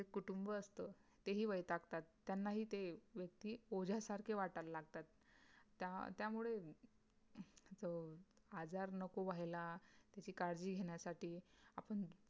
जे कुटुंब असत ते ही वैतागतात त्यांना ही ते व्यक्ति ओझ्या सारखे वाटेल लागतात त्यामुळे अं आजार नको व्हायला त्याची काळजी घेण्यासाठी आपण